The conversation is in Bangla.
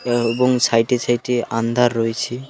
আ এবং সাইডে সাইডে আন্ধার রয়েছে।